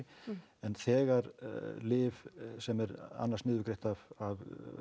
en þegar lyf sem er annars niðurgreitt af